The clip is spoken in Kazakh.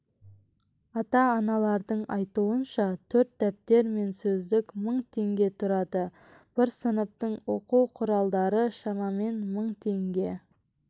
ата-аналардың айтуынша төрт дәптер мен сөздік мың теңге тұрады бір сыныптың оқу құралдары шамамен мың теңге